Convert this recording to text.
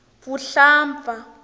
vuhlampfa